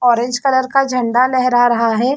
Orange colour का झंडा लेहरा रहा हैं।